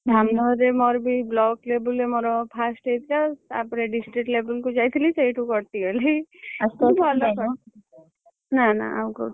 ଧାମନଗରରେ ମୋର ବି block level ରେ ମୋର fast ହେଇଥିଲାତାପରେ district level କୁ ଯାଇଥିଲି। ସେଇଠୁ କଟିଗଲି ନା ନା ଆଉ କୋଉଠି ଯାଇନି।